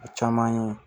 A caman ye